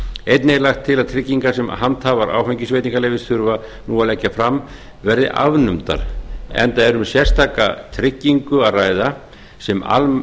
einnig er lagt til að tryggingar sem handhafar áfengisveitingaleyfis þurfa nú að leggja fram verði afnumdar enda er um sérstaka tryggingu að ræða sem almennt